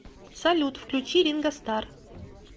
салют включи ринго стар